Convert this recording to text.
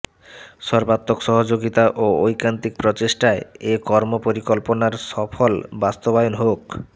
সর্বাত্মক সহযোগিতা ও ঐকান্তিক প্রচেষ্টায় এ কর্মপরিকল্পনার সফল বাস্তবায়ন হোক